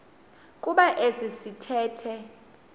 kuba esi sithethe